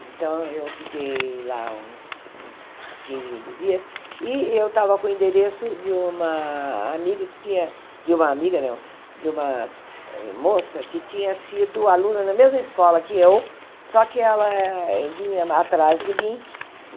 Então, eu fiquei lá uns uns quinze, vinte dias e eu estava com o endereço de uma amiga que tinha de uma amiga não de uma moça que tinha sido aluna na mesma escola que eu, só que ela vinha atrás de mim.